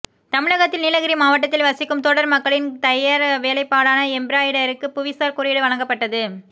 தமிழகத்தில் நீலகிரி மாவட்டத்தில் வசிக்கும் தோடர் மக்களின் தையற் வேலைப்பாடான எம்பிராய்டரிக்கு புவிசார் குறியீடு வழங்கப்பட்டது